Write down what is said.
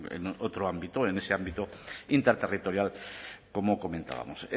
en otro ámbito en ese ámbito interterritorial como comentábamos